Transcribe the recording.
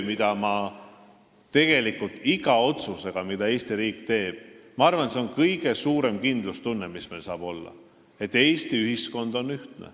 Jah, tegelikult iga otsusega, mida Eesti riik teeb, me suurendame kindlustunnet, et Eesti ühiskond on ühtne.